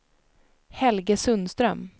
Helge Sundström